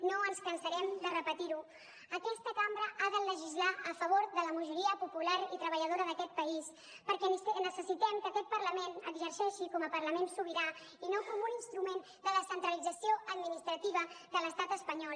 no ens cansarem de repetir ho aquesta cambra ha de legislar a favor de la majoria popular i treballadora d’aquest país perquè necessitem que aquest parlament exerceixi com a parlament sobirà i no com un instrument de descentralització administrativa de l’estat espanyol